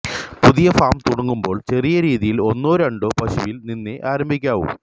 പുതിയ ഫാം തുടങ്ങുമ്പോൾ ചെറിയ രീതിയിൽ ഒന്നോ രണ്ടോ പശുവിൽ നിന്നേ ആരംഭിക്കാവൂ